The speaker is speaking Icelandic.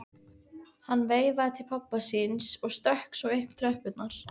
Hann veifaði til pabba síns og stökk svo upp tröppurnar.